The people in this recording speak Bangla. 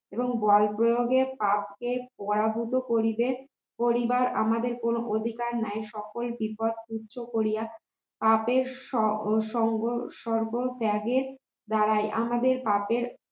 এবং বলপ্রয়োগের আগে পরাজিত করলে করিবার আমাদের কোন অধিকার নাই সকল বিপদ তুচ্ছ করিয়া পাপের সং সংঘ সকল ত্যাগের দ্বারাই আমাদের পাপের